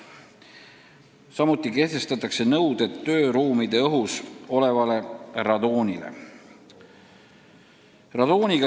Samuti kehtestatakse nõuded, mis puudutavad tööruumide õhu radoonisisaldust.